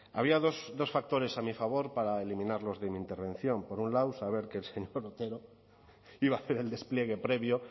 había dos factores a mi favor para eliminarlos de mi intervención por un lado saber que el señor otero iba a hacer el despliegue previo